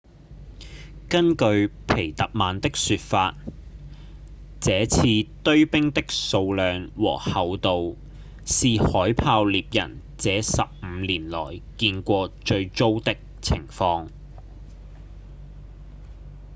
根據皮特曼的說法這次堆冰的數量和厚度是海豹獵人這十五年來見過最糟的情況